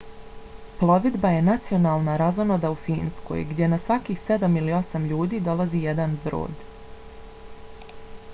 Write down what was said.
plovidba je nacionalna razonoda u finskoj gdje na svakih sedam ili osam ljudi dolazi jedan brod